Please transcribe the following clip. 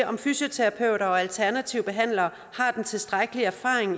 om fysioterapeuter og alternative behandlere har den tilstrækkelige erfaring